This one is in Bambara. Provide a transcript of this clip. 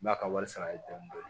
N b'a ka wari sara ye dɔɔnin dɔɔnin